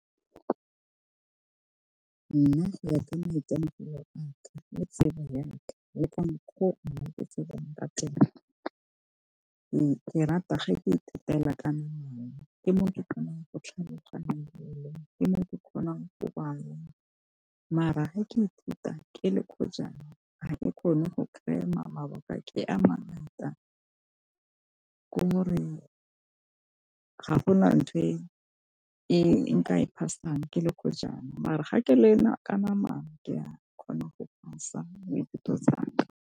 Nna go ya ka maitemogelo aka le tsebo ya ka le ka menkgo. Nna ke tsebang ka teng, ke rata ga ke ithutela ka namana ke mo ke kgonang go tlhaloganya ke mo ke kgonang go bala mara ge ke ithuta ke le ga e kgone go cram-a mabaka ke a mangata ke gore ga go nang nthwe e nka e pass-ang ke le mara ga ke learn-a ka namana ke a kgona go pass-a dithuto tsaka.